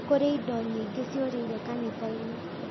Kũrĩ indo nyingĩ ciũrĩire kanitha-inĩ